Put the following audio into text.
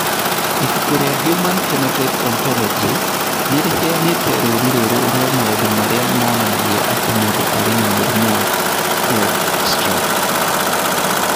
Ibuku rĩa The Human Phenotype Ontology nĩ rĩheanĩte rũũri rũrũ rwa maũndũ marĩa monanagia atĩ mũndũ arĩ na mũrimũ wa Kleefstra.